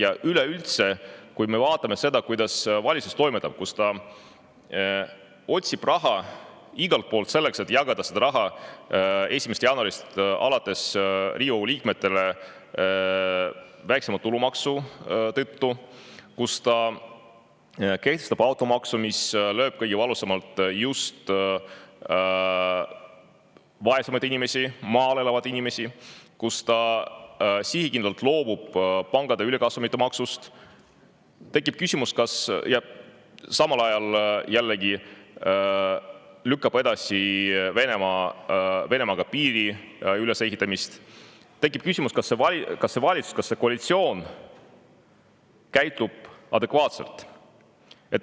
Ja üleüldse, kui me vaatame seda, kuidas valitsus toimetab, kuidas ta otsib raha igalt poolt, selleks et jagada seda raha 1. jaanuarist alates Riigikogu liikmetele, kellelt võetakse väiksemat tulumaksu, kuidas ta kehtestab automaksu, mis lööb kõige valusamalt just vaesemaid inimesi, maal elavaid inimesi, kuidas ta sihikindlalt loobub pankade ülikasumite maksust ja samal ajal lükkab edasi Eesti ja Venemaa vahelise piiri ülesehitamist, siis tekib küsimus, kas see valitsus, kas see koalitsioon käitub adekvaatselt.